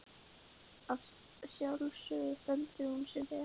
Að sjálfsögðu stendur hún sig vel.